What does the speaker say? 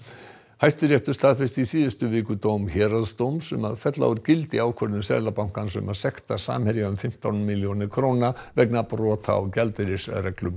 Hæstiréttur staðfesti í síðustu viku dóm héraðsdóms um að fella úr gildi ákvörðun Seðlabankans um að sekta Samherja um fimmtán milljónir króna vegna brota á gjaldeyrisreglum